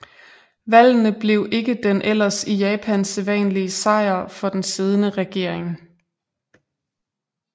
Valgene blev ikke den ellers i Japan sædvanlige sejr for den siddende regering